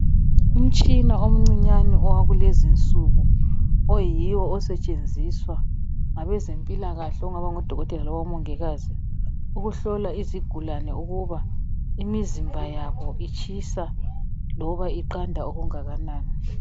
Umtshina umncinyane owakuleezi insuku, oyiwo osetshenziswa labezemphikahle okungaba ngodokotela labomungikazi okuhlola izigulane ukuba mizimba yabo itshisa loba iqanda okungakanani.